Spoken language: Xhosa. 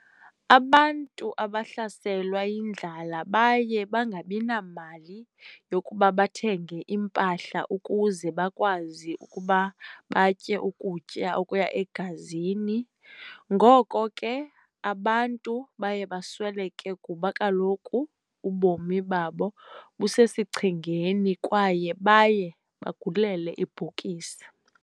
Abantu abahlaselwa yindlala baye bangabina mali yokuba bathenge impahla ukuze bakwazi ukuba batyeukutya okuya egazini ngoko ke abantu baye basweleke kuba kaloku ubomi babo busesichengeni kwaye baye bagulele ibhokisi